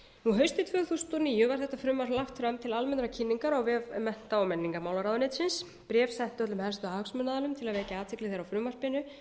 haustið tvö þúsund og níu var þetta frumvarp lagt fram til almennrar kynningar á vef mennta og menningarmálaráðuneytisins bréf sent öllum helstu hagsmunaaðilum til að vekja athygli þeirra á frumvarpinu